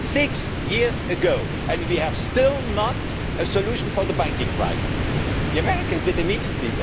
Six years ago and we have still not found a solution for the banking crisis! The Americans did that immediately.